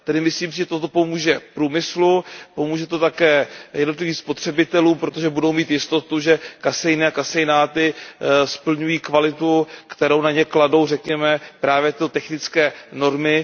Myslím si, že to pomůže průmyslu, pomůže to také jednotlivým spotřebitelům, protože budou mít jistotu, že kaseiny a kaseináty splňují kvalitu, kterou na ně kladou, řekněme, právě tyto technické normy.